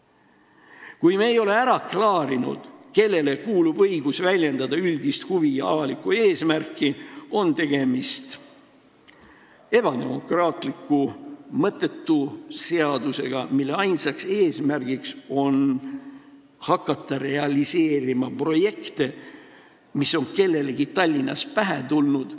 " Kui me ei ole ära klaarinud, kellele kuulub õigus väljendada avalikkuse üldisi huve, on tegemist ebademokraatliku, mõttetu seadusega, mille ainus eesmärk on hakata realiseerima projekte, mis on kellelegi Tallinnas pähe tulnud.